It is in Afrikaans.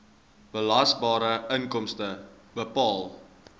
belasbare inkomste bepaal